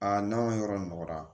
Aa n'an ka yɔrɔ nɔgɔra